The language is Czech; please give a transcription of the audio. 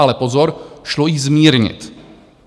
Ale pozor, šlo ji zmírnit.